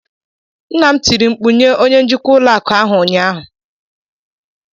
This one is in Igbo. nna m tiri mkpu nye onye njikwa ụlọ akụ ahụ ụnyaahụ